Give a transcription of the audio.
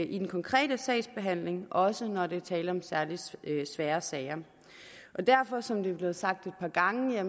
i den konkrete sagsbehandling også når der er tale om særlig svære sager og derfor er der som det er blevet sagt et par gange